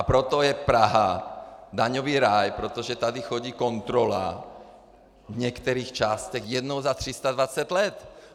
A proto je Praha daňový ráj, protože tady chodí kontrola v některých částech jednou za 320 let.